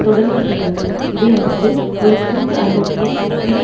தொடர்ந்து செய்தனர் இதை அடுத்து ஒரு கூட்டு ஐரோப்பிய பிணை